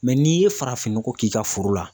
Mɛ n'i ye farafinnɔgɔ k'i ka foro la.